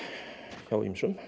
hjá ýmsum